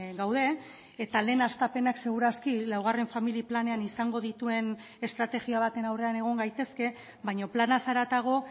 gaude eta lehen hastapenak segur aski laugarren familia planean izango dituen estrategia baten aurrean egon gaitezke baina planaz haratago